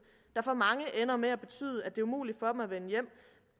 der for mange ender med at betyde at det er umuligt for dem at vende hjem